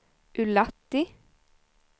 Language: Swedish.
Ullatti